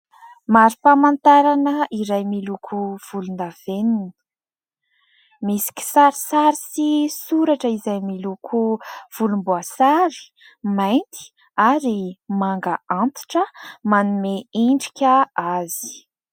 Marim-pamantarana iray miloko volondavenona. Misy kisarisary sy soratra izay miloko volomboasary, mainty ary manga antitra manome endrika azy.